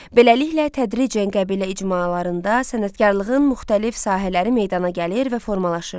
Beləliklə tədricən qəbilə icmalarında sənətkarlığın müxtəlif sahələri meydana gəlir və formalaşırdı.